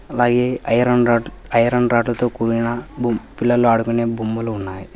అలాగే iron rod iron రాడ్లతో కూలిన బొమ్ పిల్లలు ఆడుకునే బొమ్మలు ఉన్నాయి.